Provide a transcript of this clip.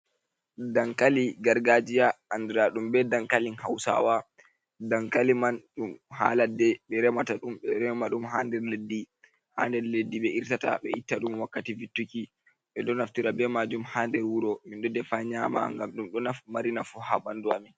Dankali gargajiya, andiradum be Dankalin hausawa. Dankali man dum ha Ladde be remata dum, be do rema dum ha nder Leddi, ha nder Leddi be irtata be itta dum wakkati vittuki be do naftira be majum ha nder wuro min do defa nyama ngam dum don mari nafu ha bandu amin